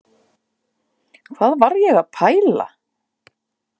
Hvað var ég að pæla?